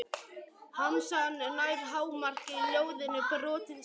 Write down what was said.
Harmsagan nær hámarki í ljóðinu Brotinn spegill.